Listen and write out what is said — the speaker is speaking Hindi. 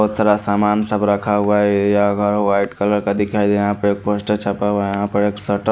बहुत सारा सामान सब रखा हुआ है ये यहाँ घर वाइट कलर का दिखाई यहाँ पे पोस्टर छपा हुआ है यहाँ पे शटर --